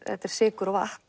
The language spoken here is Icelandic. sykur og vatn